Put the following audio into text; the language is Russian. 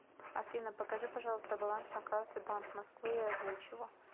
афина покажи пожалуйста баланс на карте банк москвы и озвучь его